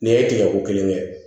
Nin ye tigɛ ko kelen kɛ